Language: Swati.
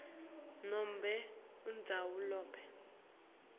nobe indzawo lapho